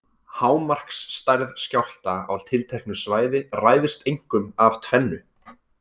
Hámarksstærð skjálfta á tilteknu svæði ræðst einkum af tvennu.